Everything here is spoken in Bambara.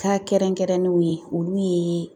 kɛrɛnkɛrɛnnenw ye olu ye